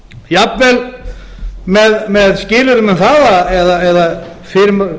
jafnvel með skilyrðum eða fyrirskipunum um að